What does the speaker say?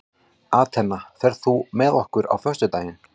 Atena, ferð þú með okkur á föstudaginn?